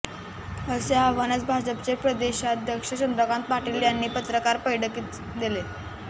असे आव्हानच भाजपचे प्रदेशाध्यक्ष चंद्रकांत पाटील यांनी पत्रकार बैठकीत दिले